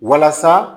Walasa